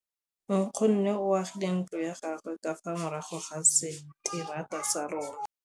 Nkgonne o agile ntlo ya gagwe ka fa morago ga seterata sa rona.